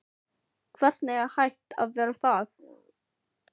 Hvernig er hægt að verja það?